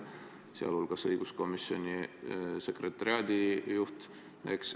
Seda arvab ka õiguskomisjoni sekretariaadi juht.